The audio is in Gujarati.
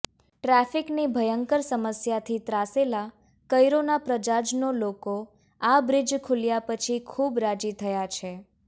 ટ્રાફિકની ભયંકર સમસ્યાથી ત્રાસેલા કૈરોના પ્રજાજનો લોકો આ બ્રીજ ખૂલ્યા પછી ખૂબ રાજી થયા છે